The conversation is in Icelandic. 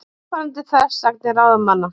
Óþolandi þversagnir ráðamanna